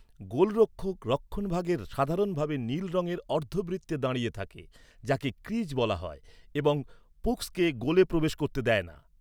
গোলরক্ষক রক্ষণভাগে সাধারণভাবে নীল রংয়ের অর্ধবৃত্তে দাঁড়িয়ে থাকে, যাকে ক্রিজ বলা হয় এবং পুকসকে গোলে প্রবেশ করতে দেয় না।